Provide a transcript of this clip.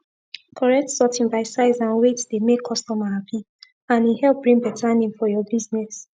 correct sorting by size and wieght dey make customer happy and e help bring better name for your business